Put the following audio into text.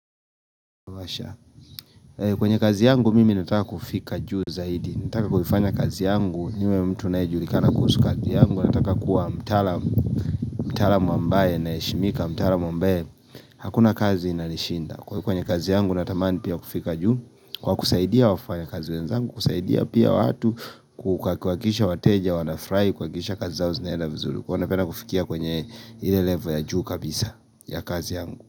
Kwenye kazi yangu, mimi nataka kufika juu zaidi. Nataka kufanya kazi yangu, niwe mtu anayejulikana kuhusu kazi yangu. Nataka kuwa mtalaam ambaye anaheshimika mtalaam ambaye. Hakuna kazi inanishinda. Kwenye kazi yangu, natamani pia kufika juu. Kwa kusaidia wafanya kazi wenzangu, kusaidia pia watu, kuhakikisha wateja, wanafrai, kukakisha kazi zao zinaeda vizuri. Huwa napenda kufikia kwenye level ya juu kabisa ya kazi yangu.